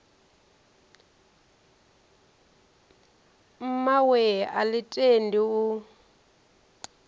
mmawe a ḽi tendi u